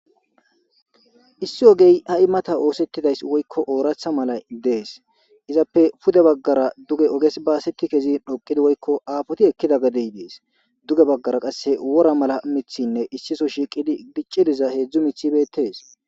Issi ogey ha7i mata oosettidays woykko ooratha mala dees izappe pude baggara duge oges baaseti kezi dhoqidi woykko aafoti ekkida gadey dees duge baggara qasse wora mala mithinne issiso shiiqidi gicci diza heedzdzu mithibetees.